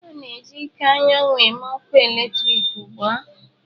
A na-eji ike anyanwụ eme ọkụ eletrik ugbu a.